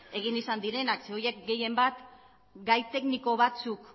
egin izan direnak ze horiek gehien bat gai tekniko batzuk